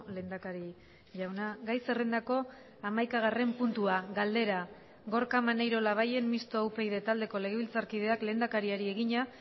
lehendakari jauna gai zerrendako hamaikagarren puntua galdera gorka maneiro labayen mistoa upyd taldeko legebiltzarkideak lehendakariari egina